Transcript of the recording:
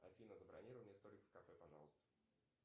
афина забронируй мне столик в кафе пожалуйста